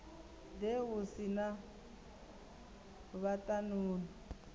ḓe u si na vhaṱanuni